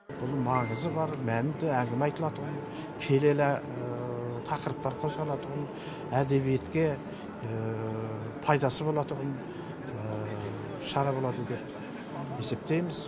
бұл маңызы бар мәнді әңгіме айтылатұғын келелі тақырыптар қозғалатұғын әдебиетке пайдасы болатұғын шара болады деп есептейміз